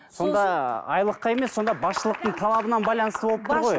сонда айлыққа емес сонда басшылықтың талабынан байланысты болып тұр ғой